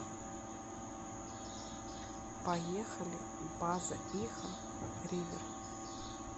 поехали базаиха ривер